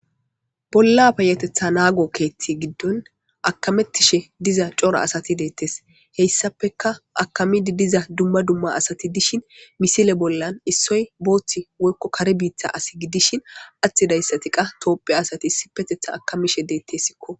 Bolla payatetha naago keethti giddon akamettishe diza cora asati deettes heyssapeka akamidi diza dumma dumma asati dishin misile bollan issoy booththi wokko kare biittha asi gidishin atti dayssati qa toophe asati issi petetha akamishe deettessikko.